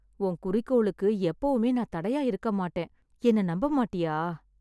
உன் குறிக்கோளுக்கு எப்பவுமே நான் தடையா இருக்கமாட்டேன். என்னை நம்பமாட்டியா?